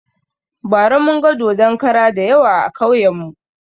Bara munga dodon kara dayawa a kauyen mu